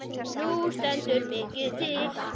Nú stendur mikið til.